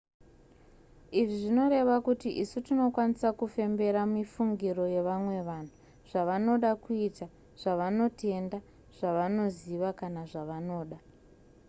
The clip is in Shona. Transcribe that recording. izvi zvinoreva kuti isu tinokwanisa kufembera mifungiro yevamwe vanhu zvavanoda kuita zvavanotenda zvavanoziva kana zvavanoda